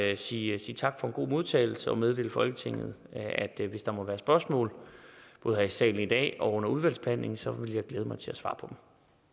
jeg sige tak for en god modtagelse og meddele folketinget at hvis der måtte være spørgsmål både her i salen i dag og under udvalgsbehandlingen så vil jeg glæde mig til at svare på